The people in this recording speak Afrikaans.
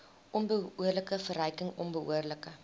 onbehoorlike verryking onbehoorlike